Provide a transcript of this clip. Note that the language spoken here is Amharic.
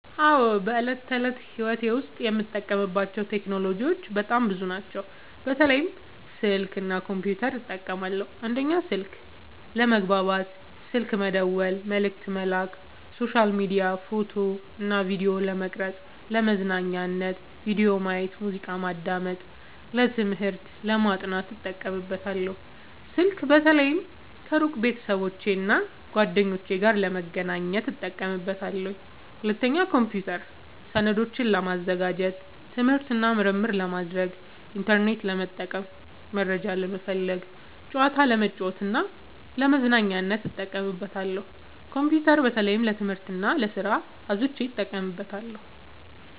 አዎ፣ በዕለት ተዕለት ሕይወቴ ዉስጥ የምጠቀምባቸው ቴክኖሎጂዎች በጣም ብዙ ናቸው፣ በተለይ ስልክ እና ኮምፒውተር እጠቀማለሁ። 1. ስልክ፦ ለመግባባት (ስልክ መደወል፣ መልዕክት መላክ)፣ሶሻል ሚዲያ፣ ፎቶ እና ቪዲዮ ለመቅረጵ፣ ፣ለመዝናኛነት(ቪዲዮ ማየት፣ ሙዚቃ ማዳመጥ)፣ ለትምህርት(ለማጥናት) እጠቀምበታለሁ። ስልክ በተለይ ከሩቅ ቤተሰቦቼና እና ጓደኞቼ ጋር ለመገናኘት እጠቀምበታለሁ። 2. ኮምፒውተር፦ ሰነዶችን ለማዘጋጀት፣ ትምህርት እና ምርምር ለማድረግ፣ ኢንተርኔት ለመጠቀም (መረጃ ለመፈለግ)፣ ጨዋታ ለመጫወት እና ለመዝናኛነት እጠቀምበታለሁ። ኮምፒውተር በተለይ ለትምህርት እና ለስራ አብዝቸ እጠቀማለሁ።